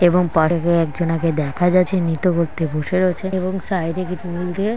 এবং পশে একজনকে দেখা যাচ্ছে নিত্য ব্যাক্তি বসে রয়েছেন এবং সাইডে কিছু ফুল দিয়ে--